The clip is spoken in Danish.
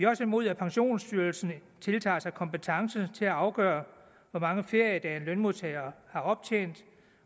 også imod at pensionsstyrelsen tiltager sig kompetence til at afgøre hvor mange feriedage en lønmodtager har optjent